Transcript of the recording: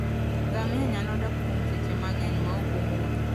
Ngamia nyalo dak kuom seche mang'eny maok omodho.